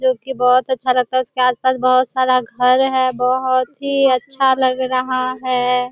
जो कि बहुत अच्छा लगता है। उसके आस-पास बहुत सारा घर है। बहुत ही अच्छा लग रहा है।